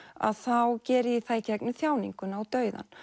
þá geri ég það í gegnum þjáninguna og dauðann